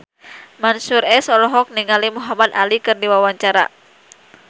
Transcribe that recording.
Mansyur S olohok ningali Muhamad Ali keur diwawancara